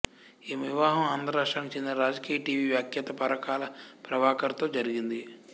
ఈమె వివాహం ఆంధ్ర రాష్ట్రానికి చెందిన రాజకీయ టీవీ వ్యాఖ్యాత పరకాల ప్రభాకర్ తో జరిగింది